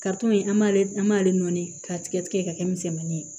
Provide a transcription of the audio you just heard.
in an b'ale an b'ale nɔni k'a tigɛ tigɛ ka kɛ misɛnmanin ye